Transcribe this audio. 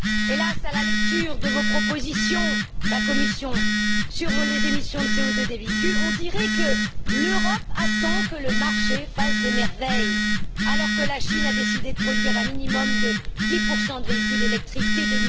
Hélas, à la lecture des propositions de votre Commission sur les émissions de CO2 des véhicules, on dirait que l'Europe attend que le marché fasse des merveilles, alors que la Chine a décidé de produire un minimum de 10 de véhicules électriques dès